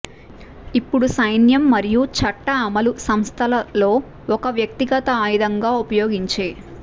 ఇప్పుడు సైన్యం మరియు చట్ట అమలు సంస్థల లో ఒక వ్యక్తిగత ఆయుధంగా ఉపయోగించే